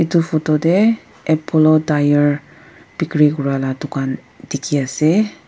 etu photo teh apollo tyre bhikri kora lah dukan dikhi ase.